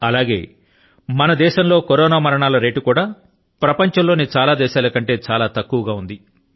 అలాగే మన దేశం లో కరోనా మరణాల సూచి కూడా ప్రపంచం లోని చాలా దేశాల కంటే చాలా తక్కువ గా ఉంది